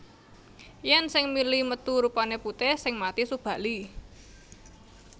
Yen sing mili metu rupane putih sing mati Subali